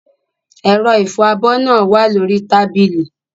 Ẹ̀rọ ìfọ abọ́ náà wà lórí tábìlì.